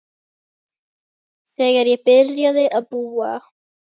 Þegar ég byrjaði að búa.